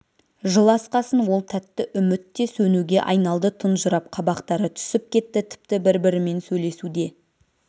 жыл асқасын ол тәтті үміт те сөнуге айналды тұнжырап қабақтары түсіп кетті тіпті бір-бірімен сөйлесу де